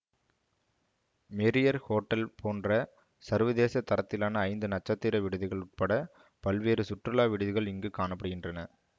Marriott hotel போன்ற சர்வதேச தரத்திலான ஐந்து நட்சத்திர விடுதிகள் உட்பட பல்வேறு சுற்றுலா விடுதிகள் இங்கு காண படுகின்றன